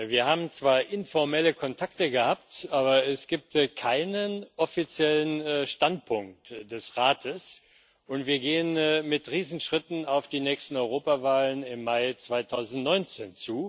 Wir haben zwar informelle Kontakte gehabt, aber es gibt ja keinen offiziellen Standpunkt des Rates, und wir gehen mit Riesenschritten auf die nächsten Europawahlen im Mai 2019